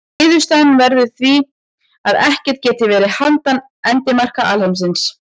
Niðurstaðan verður því að ekkert geti verið handan endamarka alheimsins.